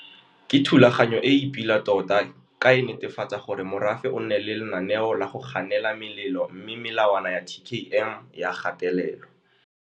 Ke thulaganyo e e pila tota ka e netefatsa gore morafe o nne le lenaneo la go ganela melelo mme melawana ya TKM e a gatelelwa.